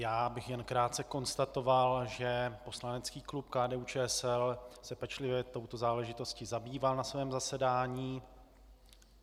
Já bych jen krátce konstatoval, že poslanecký klub KDU-ČSL se pečlivě touto záležitostí zabýval na svém zasedání.